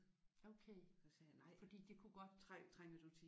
Okay fordi det kunne godt